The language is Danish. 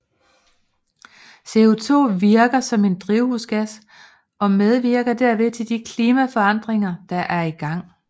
CO2 virker som en drivhusgas og medvirker derved til de klimaforandringer der er i gang